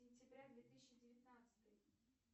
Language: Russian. сентября две тысячи девятнадцатый